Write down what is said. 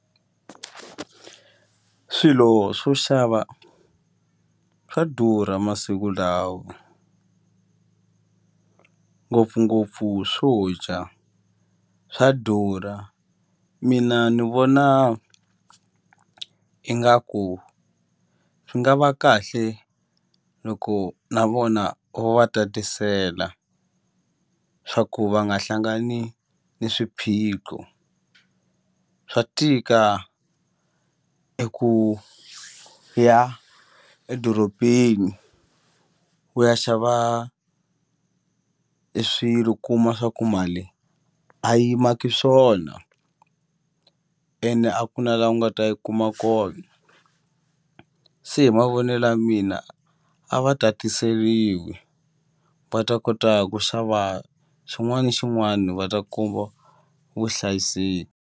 Swilo swo xava swa durha masiku lawa ngopfungopfu swo dya swa durha mina ni vona ingaku swi nga va kahle loko na vona vo va tatisela swa ku va nga hlangani ni swiphiqo swa tika eku ya edorobeni u ya xava e swilo kuma swa ku mali a yi maki swona ene a ku na la u nga ta yi kuma kona se hi mavonelo ya mina a va tatiseliwi va ta kota ku xava xin'wana na xin'wana va ta kuma vuhlayiseki.